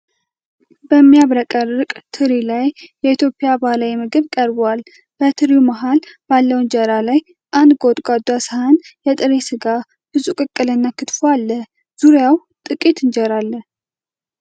በሚያብረቀርቅ ትሪ ላይ የኢትዮጵያ ባህላዊ ምግብ ቀርቧል። በትሪው መሃል ባለው እንጀራ ላይ አንድ ጎድጓዳ ሰሃን የጥብስ ስጋ፣ ብዙ ቅቅል እና ክትፎ አለ። ዙሪያው ጥቂት እንጀራ አለ።